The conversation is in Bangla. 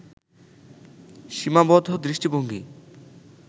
সীমাবদ্ধ দৃষ্টিভঙ্গি